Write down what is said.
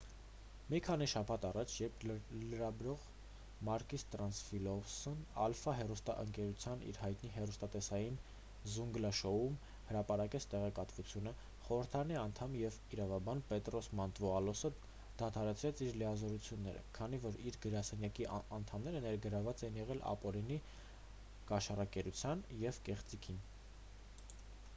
մի քանի շաբաթ առաջ երբ լրագրող մակիս տրիանտաֆիլոպուլոսն ալֆա հեռուստաընկերության իր հայտնի հեռուստատեսային զունգլա շոույում հրապարակեց տեղեկատվությունը խորհրդարանի անդամ և իրավաբան պետրոս մանտուվալոսը դադարեցրեց իր լիազորությունները քանի որ իր գրասենյակի անդամները ներգրավված էին եղել ապօրինի կաշառակերությանը և կեղծիքին